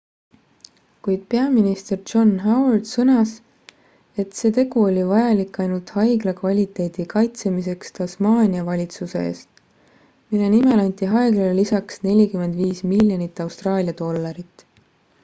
kuid peaminister john howard sõnas et see tegu oli vajalik ainult haigla kvaliteedi kaitsemiseks tasmaania valitsuse eest mille nimel anti haiglale lisaks 45 miljonit austraalia dollarit